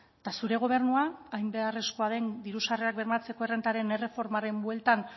eta zure gobernua hain beharrezkoa den diru sarrerak bermatzeko errentaren erreformaren bueltan